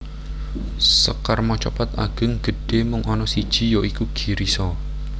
Sekar macapat Ageng gedhé mung ana siji ya iku Girisa